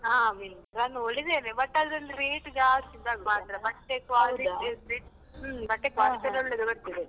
ಹಾ Myntra ನೋಡಿದೆನೆ but ಅದ್ರಲ್ಲಿ rate ಜಾಸ್ತಿ ಇದ್ದ ಹಾಗೆ ಮಾತ್ರ ಬಟ್ಟೆ quality ಹ್ಮ್ ಬಟ್ಟೆ ಎಲ್ಲ .